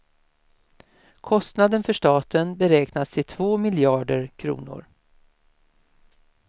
Kostnaden för staten beräknas till två miljarder kronor.